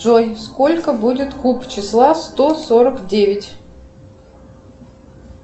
джой сколько будет куб числа сто сорок девять